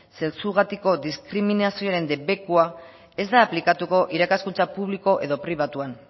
sexugatiko diskriminazioaren debekua ez da aplikatuko irakaskuntza publiko edo pribatuan